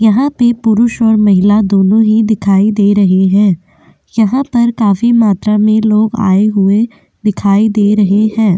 यहाँ पे पुरुष और महिला दोनों ही दिखाई दे रहे हैं यहाँ पर काफी मात्रा में लोग आए हुए दिखाई दे रहे हैं।